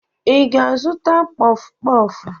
Ị ga-azụta kpọfụ kpọfụ?